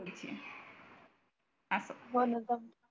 असं